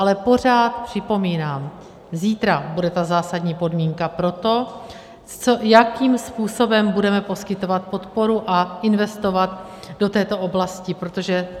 Ale pořád připomínám, zítra bude ta zásadní podmínka pro to, jakým způsobem budeme poskytovat podporu a investovat do této oblasti, protože...